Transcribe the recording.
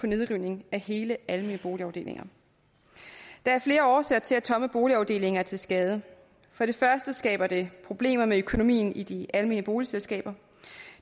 nedrivning af hele almene boligafdelinger der er flere årsager til at tomme boligafdelinger er til skade for det første skaber det problemer med økonomien i de almene boligselskaber